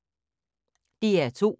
DR2